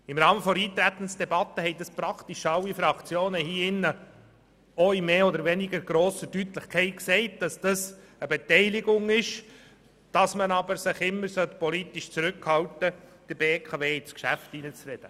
Im Rahmen der Eintretensdebatte haben praktisch alle Fraktionen mit mehr oder weniger grosser Deutlichkeit gesagt, dass es sich um eine Beteiligung handelt und man sich politisch zurückhalten sollte, der BKW ins Geschäft zu reden.